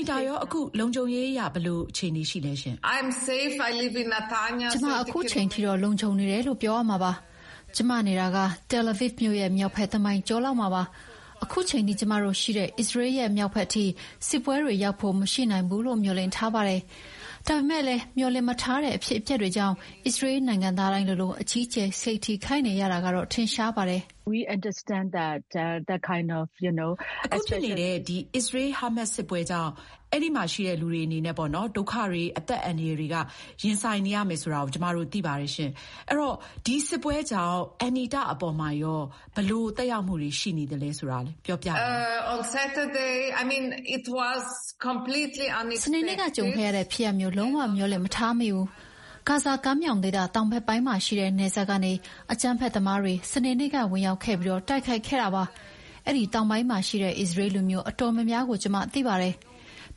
ီတာ ရော အခု လုံခြုံရေးအရ ဘယ်လိုရှိနေလဲ။ Anita- ကျမ အခုချိန်ထိတော့ လုံခြုံနေတယ်လို့ ပြောရမှာပါ။ ကျမနေတာက Tel Aviv မြို့ရဲ့ မြောက်ဘက် တမိုင်ကျော်လောက်မှာပါ။ အခုချိန်ထိ ကျမတို့ရှိတဲ့ အစ္စရေးရဲ့ မြောက်ဘက်ထိ စစ်ပွဲတွေရောက်ဖို့မရှိနိုင်ဘူးလို့ မျှော်လင့်ထားပါတယ်။ ဒါပေမယ့်လည်း မျှော်လင့်မထားတဲ့ အဖြစ်အပျက်တွေကြောင့် အစ္စရေးနိုင်ငံသားတိုင်းလိုလို အကြီးအကျယ် စိတ်ထိခိုက်နေရတာကတော့ ထင်ရှားပါတယ်။ Anita- စနေနေ့က ကြုံခဲ့ရတဲ့ ဖြစ်ရပ်မျိုး လုံးဝမျှော်လင့်မထားမိဘူး။ ဂါဇာကမ်းမြောင်ဒေသတောင်ဘက်ပိုင်းမှာရှိတဲ့ နယ်စပ်ကနေ အကြမ်းဖက်သမားတွေ စနေနေ့က ဝင်ရောက်ခဲ့ပြီး တိုက်ခိုက်ခဲ့တာပါ။ အဲဒီတောင်ပိုင်းမှာရှိတဲ့ အစ္စရေးလူမျိုး တော်တော်များများကို ကျမသိပါတယ်။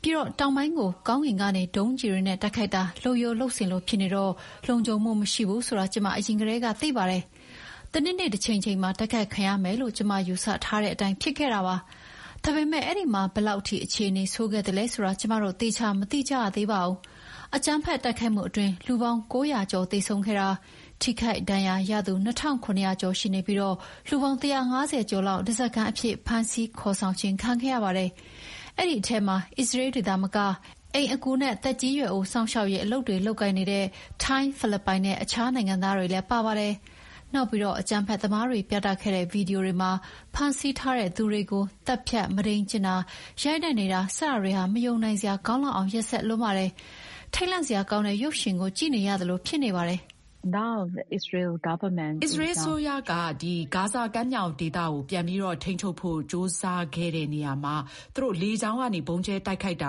ပြီးတော့ တောင်ပိုင်းကို ကောင်းကင်ကနေ ဒုံးကျည်တွေနဲ့ တိုက်ခိုက်တာ လုပ်ရိုးလုပ်စဉ်လို ဖြစ်နေတော့ လုံခြုံမှုမရှိဘူးဆိုတာ ကျမအရင်ကတည်းက သိပါတယ်။ တနေ့နေ့ တချိန်ချိန်မှာ တိုက်ခိုက်ခံရမယ်လို့ ကျမယူဆထားတဲ့အတိုင်း ဖြစ်ခဲ့တာပါ။ ဒါပေမယ့် အဲဒီမှာ ဘယ်လောက်ထိ အခြေအနေဆိုးခဲ့သလဲဆိုတာ ကျမတို့ သေချာမသိကြရသေးပါဘူး။ အကြမ်းဖက်တိုက်ခိုက်မှုအတွင်း လူပေါင်း ၉၀၀ ကျော်သေဆုံးခဲ့တာ၊ ထိခိုက်ဒဏ်ရာရသူ ၂,၇၀၀ ကျော်ရှိနေပြီး လူပေါင်း ၁၅၀ ကျော်လောက် ဓါးစာခံအဖြစ် ဖမ်းဆီးခေါ်ဆောင်ခြင်းခံခဲ့ရပါတယ်။ အဲဒီထဲမှာ အစ္စရေးတွေသာမက အိမ်အကူနဲ့ သက်ကြီးရွယ်အိုစောင့်ရှောက်ရေးအလုပ်တွေ လုပ်ကိုင်နေတဲ့ ထိုင်း၊ ဖိလစ်ပိုင်နဲ့ အခြားနိုင်ငံသားတွေလည်း ပါပါတယ်။ နောက်ပြီး အကြမ်းဖက်သမားတွေ ပြသခဲ့တဲ့ ဗွီဒီယိုတွေမှာ ဖမ်းဆီးထားသူတွေကို သတ်ဖြတ်၊ မုဒိမ်းကျင့်တာ၊ ရိုက်နှက်နေတာ စတာတွေဟာ မယုံနိုင်စရာကောင်းလောက်အောင် ရက်စက်လွန်းပါတယ်။ ထိတ်လန့်စရာကောင်းတဲ့ ရုပ်ရှင်ကို ကြည့်ရသလိုဖြစ်နေတပါတယ်။ အင်ကြင်း။ ။ အစ္စရေးအစိုးရက ဂါဇာကမ်းမြောင်ဒေသကို ပြန်ပြီး ထိန်းချုပ်ဖို့ ကြိုးစားခဲ့တဲ့နေရာမှာ လေကြောင်းကနေ ဗုံးကြဲတိုက်ခိုက်တာ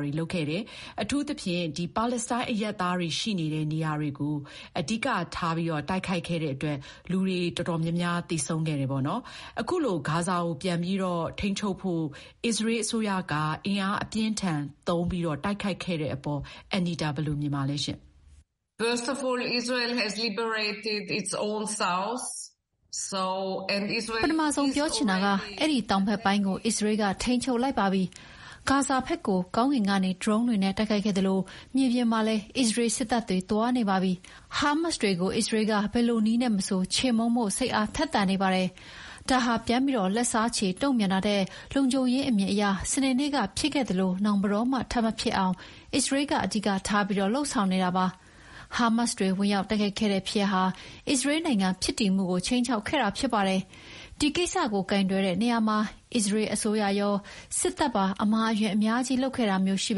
တွေ လုပ်ခဲ့တယ်။ အထူးသဖြင့် ပါလက်စတိုင်းအရပ်သားတွေရှိနေတဲ့ နေရာတွေကို အဓိက တိုက်ခိုက်ခဲ့တဲ့အတွက် လူ အများအပြားသေဆုံးခဲ့ကြပါတယ်။ အခုလို ဂါဇာကို ပြန်ပြီးထိန်းချုပ်ဖို့ အစ္စရေးအစိုးရက အင်အားအပြင်းအထန်သုံးတိုက်ခိုက်ခဲ့တဲ့အပေါ် ဘယ်လိုမြင်ပါသလဲ။ Anita- ပထမဆုံးပြောချင်တာက အဲဒီတောင်ဘက်ပိုင်းကို အစ္စရေးက ထိန်းချုပ်လိုက်ပါပြီ။ ဂါဇာဘက်ကို ကောင်းကင်ကနေ ဒရုန်းတွေနဲ့ တိုက်ခိုက်ခဲ့သလို မြေပြင်မှာလည်း အစ္စရေးစစ်တပ်တွေ သွားနေပါပြီ။ ဟားမတ်စ်တွေကို အစ္စရေးက ဘယ်လိုနည်းနဲ့ မဆို ချေမှုန်းဖို့ စိတ်အားထက်သန်နေပါတယ်။ ဒါဟာ ပြန်ပြီးလက်စားချေတုံ့ပြန်တာထက် လုံခြုံရေးအမြင်အရ စနေနေ့က ဖြစ်ခဲ့သလို နောင်ဘယ်တော့မှ ထပ်မဖြစ်အောင် အစ္စရေးက အဓိကထားပြီး လုပ်ဆောင်နေတာပါ။ ဟားမတ်စ်တွေ ဝင်ရောက်တိုက်ခိုက်ခဲ့တဲ့ဖြစ်ရပ်ဟာ အစ္စရေးနိုင်ငံဖြစ်တည်မှုကို ခြိမ်းခြောက်ခဲ့တာဖြစ်ပါတယ်။ ဒီကိစ္စကို ကိုင်တွယ်တဲ့နေရာမှာ အစ္စရေး အစိုးရရော၊ စစ်တပ်ပါ အမှားအယွင်းအများကြီးလုပ်ခဲ့တာမျိုးရှိ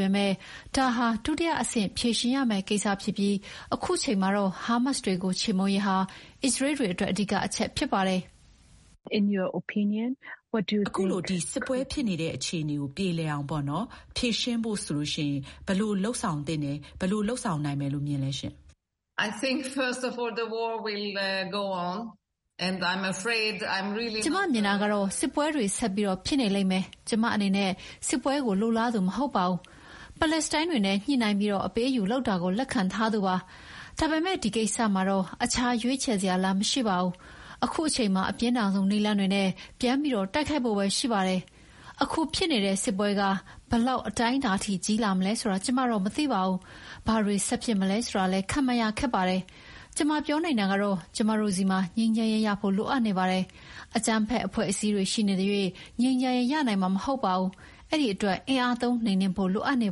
ပေမယ့် ဒါဟာ ဒုတိယအဆင့်ဖြေရှင်းရမယ့် ကိစ္စဖြစ်ပြီး အခုချိန်မှာတော့ ဟားမတ်စ်တွေကို ချေမှုန်းရေးဟာ အစ္စရေးတွေအတွက် အဓိက အချက်ဖြစ်ပါတယ်။ အင်ကြင်းနိုင်။ ။ အစ္စရေး-ဟားမတ်စ် စစ်ပွဲ ရပ်တန့်ပြီး ငြိမ်းချမ်းရေးရဖို့ ဆိုရင် ဘယ်လိုလုပ်ဆောင်နိုင်မယ်လို့ မြင်လဲ။ Anita- ကျမမြင်တာကတော့ စစ်ပွဲတွေ ဆက်ပြီးဖြစ်နေလိမ့်မယ်။ ကျမအနေနဲ့က စစ်ပွဲကိုလိုလားသူမဟုတ်ပါဘူး။ ပါလက်စတိုင်းတွေနဲ့ ညှိနှိုင်းပြီး အပေးအယူလုပ်တာကို လက်ခံထားသူပါ။ ဒါပေမယ့် ဒီကိစ္စမှာတော့ အခြားရွေးချယ်စရာလမ်းမရှိပါဘူး။ အခုအချိန်မှာ အပြင်းထန်ဆုံးနည်းလမ်းတွေနဲ့ ပြန်ပြီး တိုက်ခိုက်ဖို့ပဲရှိပါတယ်။ အခုဖြစ်နေတဲ့ စစ်ပွဲက ဘယ်လောက်အတိုင်းအတာထိကြီးလာမလဲဆိုတာတော့ ကျမမသိပါဘူး။ ဘာတွေဆက်ဖြစ်မလဲဆိုတာလည်း ခန့်မှန်းရခက်ပါတယ်။ ကျမပြောနိုင်တာကတော့ ကျမတို့ဆီမှာ ငြိမ်းချမ်းရေး ရဖို့ လိုအပ်နေပါတယ်။ အကြမ်းဖက်အဖွဲ့အစည်းတွေရှိနေသရွေ့ ငြိမ်းချမ်းရေး ရနိုင်မှာ မဟုတ်ပါဘူး။ အဲဒီအတွက် အင်အားသုံး နှိမ်နင်းဖို့ လိုအပ်နေ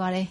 ပါတယ်။